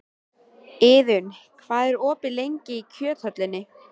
Iðunn, hvað er opið lengi í Kjöthöllinni?